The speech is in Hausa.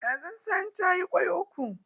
Kazan sani ta yi kwai uku.